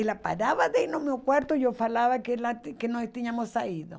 Ela parava de ir no meu quarto e eu falava que que nós tínhamos saído.